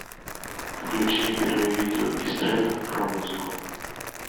включи первое видео из трендов про музыку